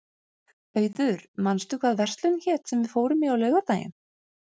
Auður, manstu hvað verslunin hét sem við fórum í á laugardaginn?